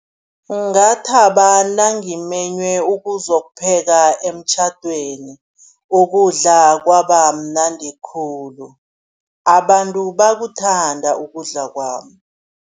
Ngathaba nangimenywe ukuzokupheka emtjhadweni, ukudla kwabamnandi khulu, abantu bakuthanda ukudla kwami.